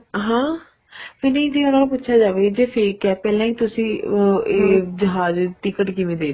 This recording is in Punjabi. ਹਾਂ ਵੀ ਇਹਨਾ ਨੂੰ ਪੁੱਛਿਆ ਜਾਵੇ ਜੀ fake ਏ ਪਹਿਲਾਂ ਹੀ ਤੁਸੀਂ ਇਹ ਜਹਾਜ਼ ਦੀ ticket ਕਿਵੇਂ ਦੇਤੀ